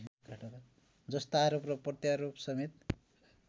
जस्ता आरोप प्रत्यारोपसमेत